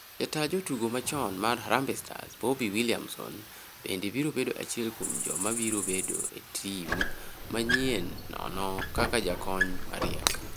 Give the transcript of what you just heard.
Jataa jotugo machon mar Harambee Stars Bobby Williamson bende biro bedo achiel kuom joma biro bedo e tim manyienono kaka jakony mariek.